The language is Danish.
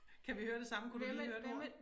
Kan vi høre det samme kunne du lige høre et ord?